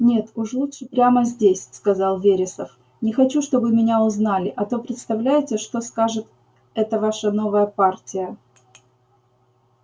нет уж лучше прямо здесь сказал вересов не хочу чтобы меня узнали а то представляете что скажет эта ваша новая партия